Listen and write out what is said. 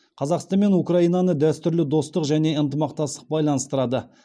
қазақстан мен украинаны дәстүрлі достық және ынтымақтастық байланыстырады